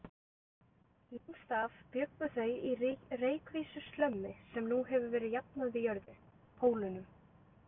Lengst af bjuggu þau í reykvísku slömmi sem nú hefur verið jafnað við jörðu: Pólunum.